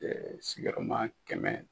sigiyɔrɔma kɛmɛ.